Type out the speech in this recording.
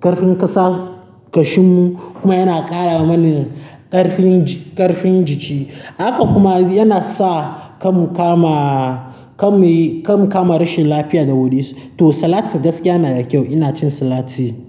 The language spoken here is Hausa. ƙarfin ƙasa, ƙashin mu kuma yana ƙara mana ƙarfin ji-- ƙarfin jiki. Haka kuma yana sa ka mu kama, ka mu yi, ka mu kama rashin lafiya da wuri. Saboda a waje na kenan, idan an sa mun salati a abinci na, zai sa ni in dinga ci kamar ba zan ƙoshi ba saboda salati yana da kyau a abinci. Kuma idan ka ci sala-- idan ka ci salati a abinci, yana da kyau a jikin mutane. Ina cin salati.